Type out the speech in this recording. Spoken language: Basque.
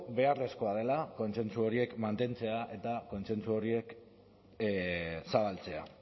beharrezkoa dela kontsentsu horiek mantentzea eta kontsentsu horiek zabaltzea